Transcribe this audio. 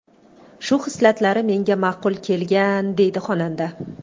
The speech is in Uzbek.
Shu xislatlari menga ma’qul kelgan”,deydi xonanda.